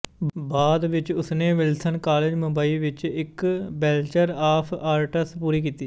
ਬਾਅਦ ਵਿੱਚ ਉਸਨੇ ਵਿਲਸਨ ਕਾਲਜ ਮੁੰਬਈ ਵਿੱਚ ਇੱਕ ਬੈਚਲਰ ਆਫ਼ ਆਰਟਸ ਪੂਰੀ ਕੀਤੀ